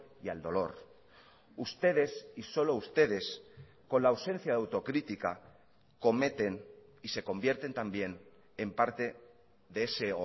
y al dolor ustedes y solo ustedes con la ausencia de autocrítica cometen y se convierten también en parte de ese